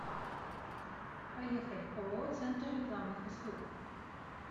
поехали ооо центр рекламных услуг